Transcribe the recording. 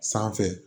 Sanfɛ